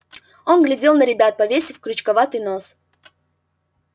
он глядел на ребят повесив крючковатый нос